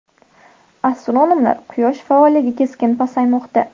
Astronomlar: Quyosh faolligi keskin pasaymoqda.